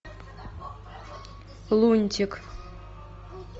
лунтик